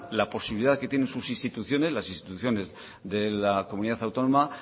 la posibilidad que tienen sus instituciones las instituciones de la comunidad autónoma